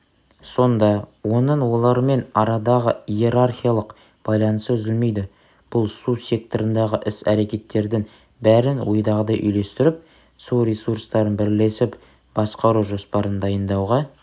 сонда оның олармен арадағы иерархиялық байланысы үзілмейді бұл су секторындағы іс рекеттердің бәрін ойдағыдай үйлестіріп су ресурстарын бірлесіп басқару жоспарын дайындауға